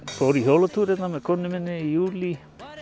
fór í hjólatúr hérna með konunni minni í júlí